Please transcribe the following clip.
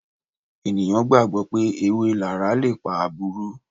ènìyàn gbàgbó pé èwé lara lépà àbúrú.